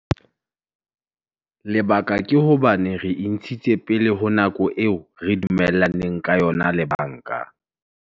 Lebaka ke hobane re e ntshitse pele ho nako eo re dumellaneng ka yona le banka.